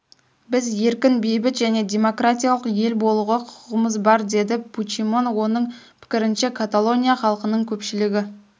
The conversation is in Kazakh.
біз еркін бейбіт және демократиялық ел болуға құқығымыз бар деді пучемон оның пікірінше каталония халқының көпшілігі